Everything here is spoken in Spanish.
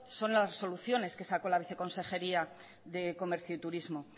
son las resoluciones que sacó la viceconsejería de comercio y turismo